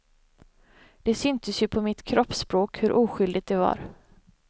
Det syntes ju på mitt kroppsspråk hur oskyldigt det var.